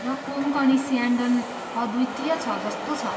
र कोँकणी स्यान्डन अद्वितीय छ जस्तो छ।